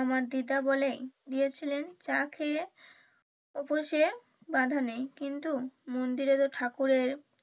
আমার দিদা বলেন দিয়েছিলেন চা খেয়ে উপসে বাধা নাই কিন্তু মন্দিরে তো ঠাকুরের,